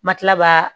Ma tila ka